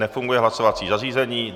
Nefunguje hlasovací zařízení.